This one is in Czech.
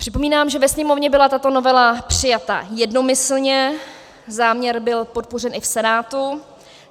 Připomínám, že ve Sněmovně byla tato novela přijata jednomyslně, záměr byl podpořen i v Senátu.